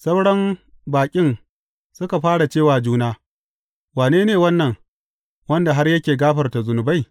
Sauran baƙin suka fara ce wa juna, Wane ne wannan, wanda har yake gafarta zunubai?